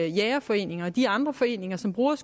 jægerforeninger og de andre foreninger som bruger